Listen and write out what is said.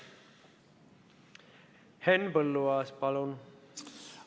Henn Põlluaas, palun!